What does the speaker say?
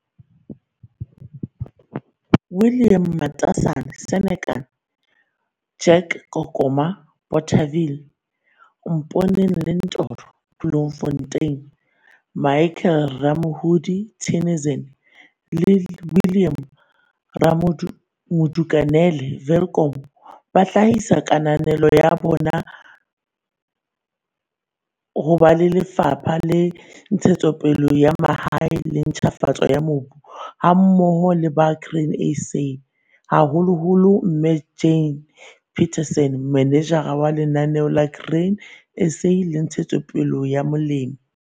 William Matasane, Senekal, Jack Kokoma, Bothaville, Mponeng Lentoro, Bloemfontein, Michael Ramoholi, Theunissen le Willem Modukanele, Welkom ba hlahisa kananelo ya bona ho ba Lefapha la Ntshetsopele ya Mahae le Ntjhafatso ya Mobu hammoho le ba Grain SA - haholoholo mme Jane McPherson, Manejara wa Lenaneo la Grain SA la Ntshetsopele ya Molemi.